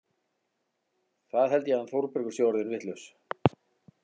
Það held ég að hann Þórbergur sé orðinn vitlaus!